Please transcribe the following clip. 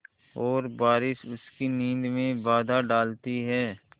और बारिश उसकी नींद में बाधा डालती है